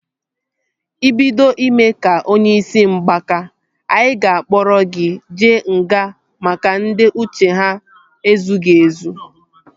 Ị bido ime ka onye isi mgbaka, anyị ga-akpọrọ gị jee nga maka ndị uche ha ezughị ezụ